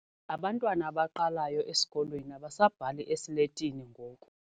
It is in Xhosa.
Abantwana abaqalayo esikolweni abasabhali esiletini ngoku.